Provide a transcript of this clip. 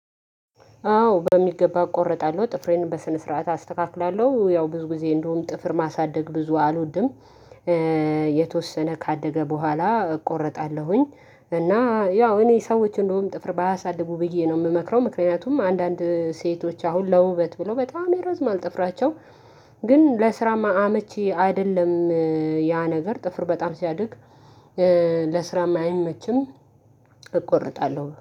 አዎ በሚገባ እቆርጣለሁ ጥፍሬን በስነ ስርዓት አስተካክላለሁ ያው ብዙ ጊዜ እንደውም ጥፍር ማሳደግ ብዙ አልወድም። የተወሰነ ካደገ በኋላ እቆርጣለሁኝ። እና ያው እኔ ሰዎች እንደውም ጥፍር ባያሳድቡ ብዬ ነው የምመክረው። ምክንያቱም አንዳንድ ሴቶች አሁን ለውበት ብሎ በጣም የረዝምማል ጥፍራቸው። ግን ለስራማ አመቺ አይደለም። ያ ነገር ጥፍር በጣም ሲያድግ ለስራ ማይመችም። እቆርጣለሁ